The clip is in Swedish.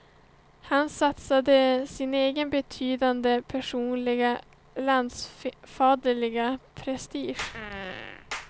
Han satsade sin egen betydande personliga, landsfaderliga prestige.